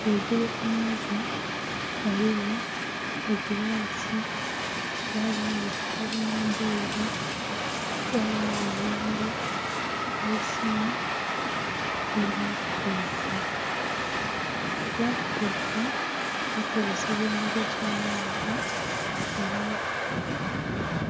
Ghaigulu ku meeza ghaligho egilasi ghabagho ekitabo nhi bbailo, ghabagho ebimuli, eisimu nhi laputopu. Laputopu ekozesebwa emigaso mingi nga